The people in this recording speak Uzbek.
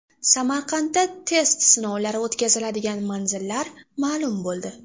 Samarqandda test sinovlari o‘tkaziladigan manzillar ma’lum bo‘ldi.